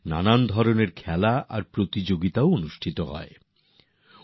নানারকমের খেলা এবং প্রতিযোগিতারও আয়োজন হয়ে থাকে